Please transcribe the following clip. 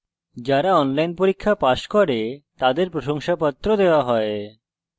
যারা online পরীক্ষা pass করে তাদের প্রশংসাপত্র দেওয়া হয়